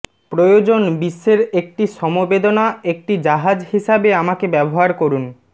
প্রয়োজন বিশ্বের একটি সমবেদনা একটি জাহাজ হিসাবে আমাকে ব্যবহার করুন